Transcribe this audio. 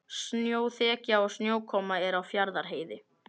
Snjóþekja og snjókoma er á Fjarðarheiði